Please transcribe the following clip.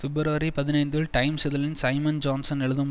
பிப்ரவரி பதினைந்தில் டைம்ஸ் இதழில் Simon Johnson எழுதும்